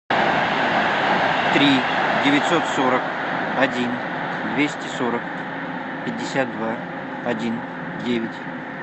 три девятьсот сорок один двести сорок пятьдесят два один девять